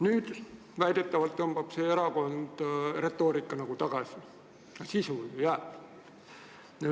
Nüüd väidetavalt tõmbab see erakond oma retoorika tagasi, aga sisu ju jääb.